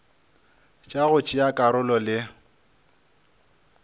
tša go tšea karolo le